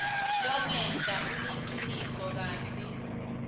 longenla uliciniso kantsi